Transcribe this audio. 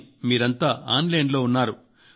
కానీ మీరంతా online లో ఉన్నారు